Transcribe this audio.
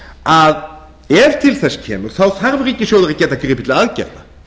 að ef til þess kemur þarf ríkissjóður að geta gripið til aðgerða